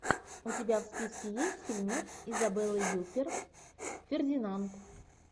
у тебя в списке есть фильмец изабелы юппер фердинанд